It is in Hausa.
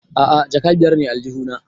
A'a jaka biyar ne a aljihu na